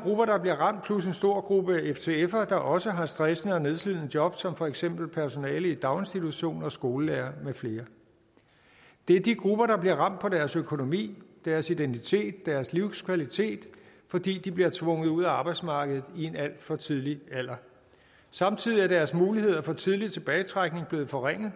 grupper der bliver ramt plus en stor gruppe ftfere der også har stressende og nedslidende job som for eksempel personale i daginstitutioner skolelærere med flere det er de grupper der bliver ramt på deres økonomi deres identitet deres livskvalitet fordi de bliver tvunget ud af arbejdsmarkedet i en alt for tidlig alder samtidig er deres muligheder for tidlig tilbagetrækning blevet forringet